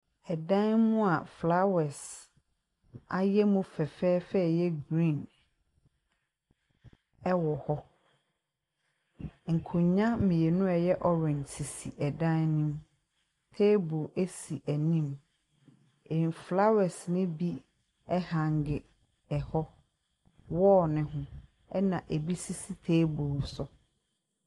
Dan mu a flowers ayɛ mu fɛfɛɛfɛ a ɛyɛ green wɔ hɔ. Nkonnwa mmienu a ɛyɛ orange sisi dan no mu. Table si anim. Mfelawas no bi ɛhange hɔ, wall no ho, ɛnna ebi sisi table so.